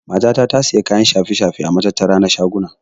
Mata ta tasiya kayan shafe-shafe a matattara na shaguna.